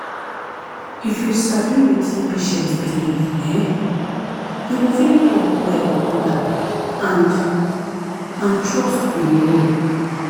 if you sabi wetin patient believe[um]you go fit talk well with am and and trust go grow.